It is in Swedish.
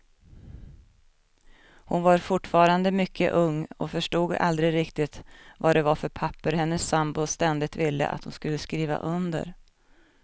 Hon var fortfarande mycket ung och förstod aldrig riktigt vad det var för papper hennes sambo ständigt ville att hon skulle skriva under.